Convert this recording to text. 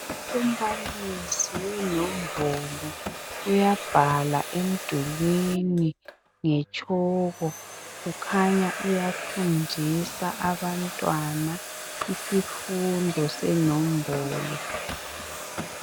Umbalisi wenombolo uyabhala emdulwini ngetshoko. Kukhanya uyafundisa abantwana isifundo senombolo.